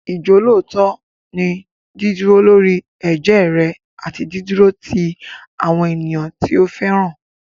Ìjọ́lóòótọ́ ni dídúró lórí ẹ̀jẹ́ rẹ àti dídúró ti àwọn ènìyàn tí o fẹ́ràn.